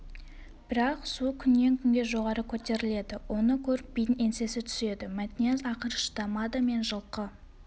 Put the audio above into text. бірақ су күннен күнге жоғары көтеріледі оны көріп бидің еңсесі түседі мәтнияз ақыры шыдамады мен жылқы